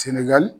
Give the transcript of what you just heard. Senagali